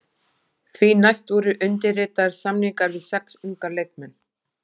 Því næst voru undirritaðir samningar við sex unga leikmenn.